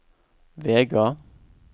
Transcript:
Vega